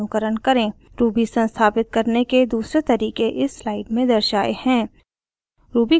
ruby संस्थापित करने के दूसरे तरीके इस स्लाइड में दर्शाए हैं